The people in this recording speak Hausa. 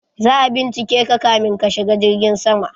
Za'a bincike ka ka min ka shiga jirgin sama